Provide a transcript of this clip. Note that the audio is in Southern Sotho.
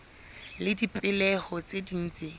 le dipehelo tse ding tse